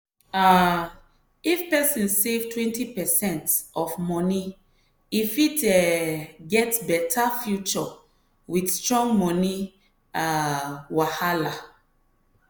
um if person save 20 percent of moni e fit um get better future with strong money um wahala.